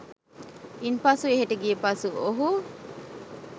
ඉන්පසු එහෙට ගියපසු ඔහු